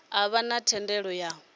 a vha na thendelo ya